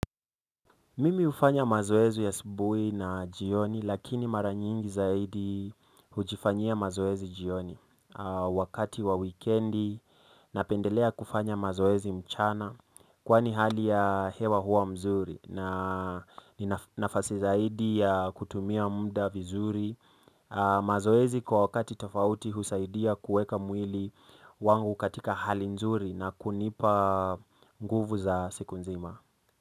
Mimi hufanya mazoezi asubuhi na jioni lakini maranyingi zaidi hujifanyia mazoezi jioni wakati wa weekendi napendelea kufanya mazoezi mchana kwani hali ya hewa huwa mzuri na ina nafasi zaidi ya kutumia mda vizuri mazoezi kwa wakati tofauti husaidia kuweka mwili wangu katika hali nzuri na kunipa nguvu za siku nzima.